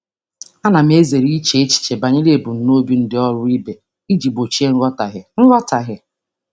Ana m ezere iche echiche banyere ebumnuche ndị ọrụ ibe m iji gbochie nghọtahie.